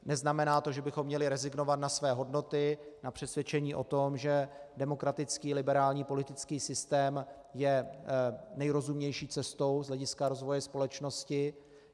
Neznamená to, že bychom měli rezignovat na své hodnoty, na přesvědčení o tom, že demokratický liberální politický systém je nejrozumnější cestou z hlediska rozvoje společnosti.